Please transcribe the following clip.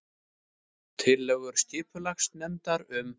Tillögur skipulagsnefndar um